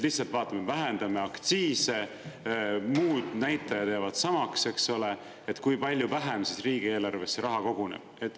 Lihtsalt vaatame, vähendame aktsiise, muud näitajad jäävad samaks, kui palju vähem riigieelarvesse raha koguneb.